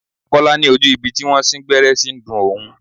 Kọ́lá ní ojú ibi tí wón sín gbẹ́rẹ́ ṣí ń dùn òun.